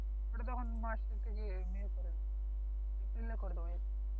ওটা যখন মার্চের থেকে করে দেবো মে এ করে দেব এপ্রিলে করে দেবো